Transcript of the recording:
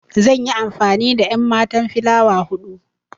Zan yi amfani da enmatan filawa hudu.